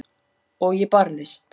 Og ég barðist.